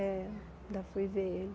É, ainda fui ver ele.